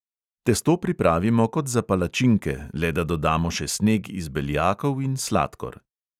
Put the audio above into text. Testo pripravimo kot za palačinke, le da dodamo še sneg iz beljakov in sladkor.